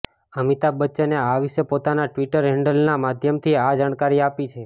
અમિતાભ બચ્ચને આ વિશે પોતાના ટ્વિટર હેન્ડલનાં માધ્યમથી આ જાણકારી આપી છે